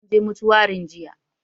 Mun je mutuwarin jiya